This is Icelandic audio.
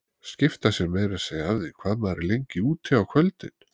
Skipta sér meira að segja af því hvað maður er lengi úti á kvöldin!